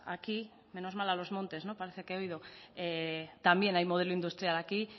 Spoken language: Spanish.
aquí menos mal a los montes parece que he oído no también hay modelo industrial aquí